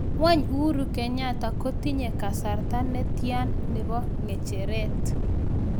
Wany uhuru kenyatta kotinye kasarta netyan nepo kecheret